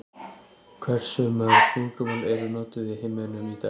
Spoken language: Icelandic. Hversu mörg tungumál eru notuð í heiminum í dag?